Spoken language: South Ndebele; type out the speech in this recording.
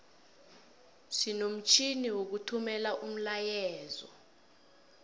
sinomtjhini wokuthumela umlayeezo